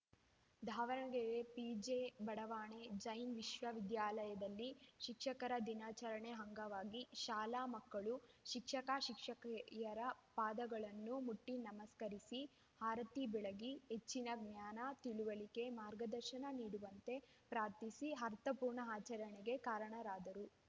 Davanagere PJ ಬಡಾವಣೆಯ ಜೈನ್‌ ವಿದ್ಯಾಲಯದಲ್ಲಿ ಶಿಕ್ಷಕರ ದಿನಾಚರಣೆ ಅಂಗವಾಗಿ ಶಾಲಾ ಮಕ್ಕಳು ಶಿಕ್ಷಕಶಿಕ್ಷಕಿಯರ ಪಾದಗಳನ್ನು ಮುಟ್ಟಿನಮಸ್ಕರಿಸಿ ಆರತಿ ಬೆಳಗಿ ಹೆಚ್ಚಿನ ಜ್ಞಾನ ತಿಳಿವಳಿಕೆ ಮಾರ್ಗದರ್ಶನ ನೀಡುವಂತೆ ಪ್ರಾರ್ಥಿಸಿ ಆರ್ಥಪೂರ್ಣ ಆಚರಣೆಗೆ ಕಾರಣರಾದರು